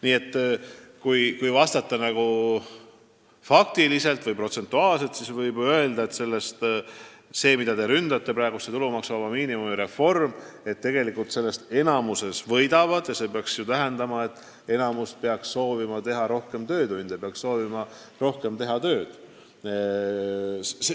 Nii et kui vastata faktidele toetudes, siis võib öelda, et tulumaksuvaba miinimumiga seotud reformist, mida te ründate, tegelikult enamik võidab ja see peaks tähendama, et enamik peaks soovima teha rohkem töötunde, peaks soovima teha rohkem tööd.